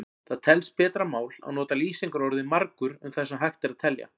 Það telst betra mál að nota lýsingarorðið margur um það sem hægt er að telja.